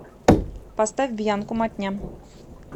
поставь бьянку матня